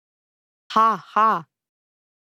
Ha, ha ...